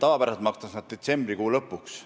Tavapäraselt makstakse see raha detsembrikuu lõpuks.